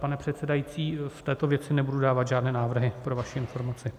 Pane předsedající, v této věci nebudu dávat žádné návrhy, pro vaši informaci.